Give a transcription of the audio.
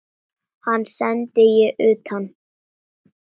Hann sendi ég utan.